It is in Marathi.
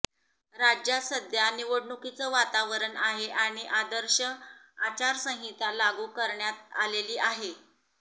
राज्यात सध्या निवडणुकीचं वातावरण आहे आणि आदर्श आचारसंहिता लागू करण्यात आलेली आहे